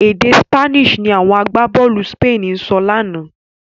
Èdè Spanish ni àwọn agbábọ̀ọ̀lù Spain ń sọ lánàá.